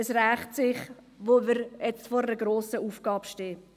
Es rächt sich nun, da wir vor einer grossen Aufgabe stehen.